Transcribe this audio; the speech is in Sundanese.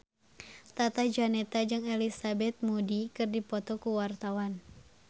Tata Janeta jeung Elizabeth Moody keur dipoto ku wartawan